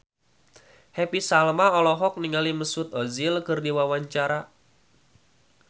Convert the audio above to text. Happy Salma olohok ningali Mesut Ozil keur diwawancara